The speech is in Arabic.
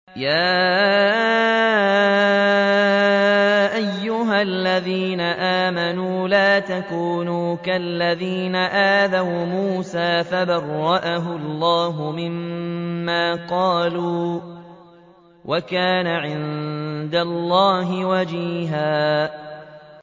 يَا أَيُّهَا الَّذِينَ آمَنُوا لَا تَكُونُوا كَالَّذِينَ آذَوْا مُوسَىٰ فَبَرَّأَهُ اللَّهُ مِمَّا قَالُوا ۚ وَكَانَ عِندَ اللَّهِ وَجِيهًا